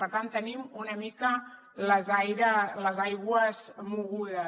per tant tenim una mica les aigües mogudes